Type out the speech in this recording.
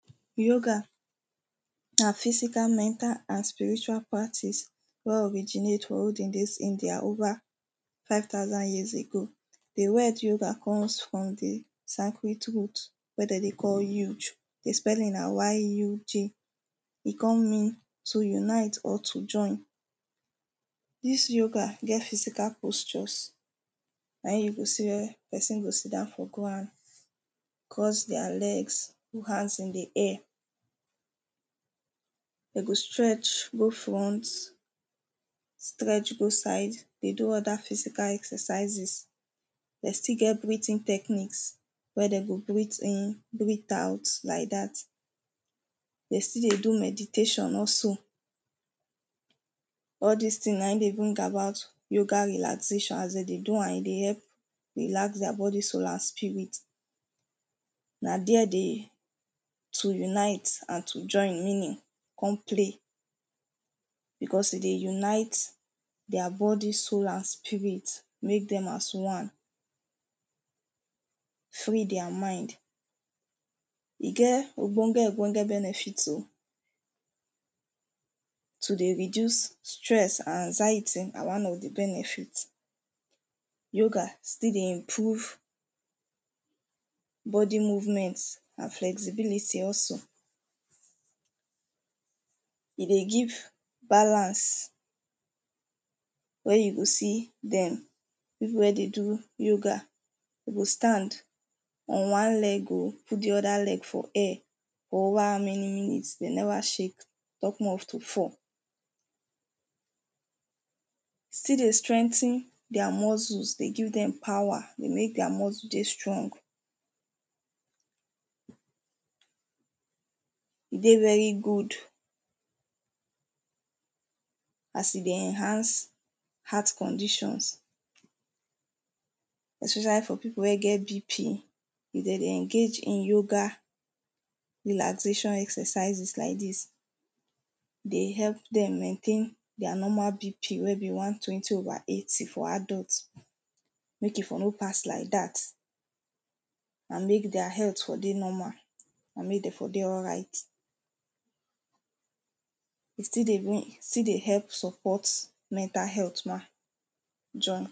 Yoga na physical, mental snd spiritual practice wey originate from olden days india over five thousand years ago. The word yoga comes from the sacred root wey dem dey call yuj. The spelling na yuj. E con mean to unite or to join. Dis yoga get physical postures na im you go say, person go sit down for ground cross thier legs, put hands in the air. Dem go stretch go front stretch go side dey do other physical exercises. Dem still get breathing techniques. Wey dem go breath in breath out like dat. They still dey do meditation also All des things na im dey bring about yoga relaxation. As dem dey do am, e dey help relax their body, soul and spirit. Na dere the to unite and to join meaning come play. Because e dey unite their body, soul and spirit. Make dem as one, free their mind. E get ogbonge ogbonge benefit oh. To dey reduce stress and anxiety na one of the benefit. Yoga still dey improve body movement and flexibility also. E dey give balance wey you go see dem, people wey dey do yoga de go stand on one leg oh. Put the other leg for air. For over how many minutes they never shake talk more of to fall. Still dey strength thier muscle. They give dem power. They make their muscle dey strong. E dey very good as e dey enhance heart conditions especially for people wey get BP. If dem dey engage in yoga relaxation exercises like dis, e dey help dem maintain their normal BP wey be one twenty over eighty for adult. Make e for no pass like dat and make their health for dey normal. and make dem for dey alright. E still dey even e still dey help support mental health ma join.